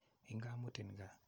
Inga mutin kaa.